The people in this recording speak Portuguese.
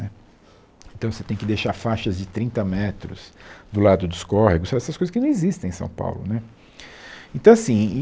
Né então você tem que deixar faixas de trinta metros do lado dos córregos, essas essas coisas que não existem em São Paulo né então assim.